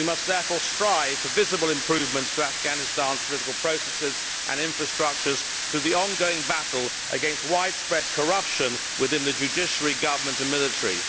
We must therefore strive for visible improvements to Afghanistan's political processes and infrastructures for the ongoing battle against widespread corruption within the judiciary, government and military.